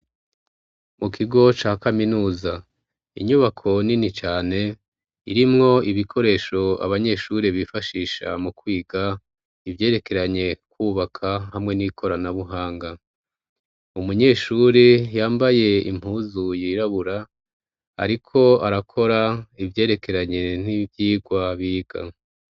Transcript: Mukigo ca kaminuza; inyubako nini cane irimwo ibikoresho abanyeshure bifashisha mukwiga ivyerekeranye kwubaka hamwe n'ikoranabuhanga. Umunyeshure yambaye impuzu yirabura ariko arakora ivyerekeranye n'ivyigwa biga.